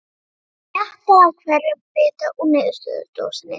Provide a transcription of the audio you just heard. Hann smjattaði á hverjum bita úr niðursuðudósinni.